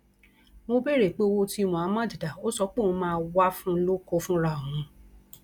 mo béèrè pé owó tí muhammad dá ò sọ pé òun máa wàá fún un lóko fúnra òun